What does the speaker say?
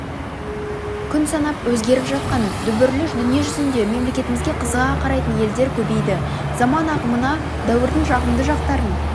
күн санап өзгеріп жатқан дүбірлі дүниежүзінде мемлекетімізге қызыға қарайтын елдер көбейді заман ағымына дәуірдің жағымды жақтарын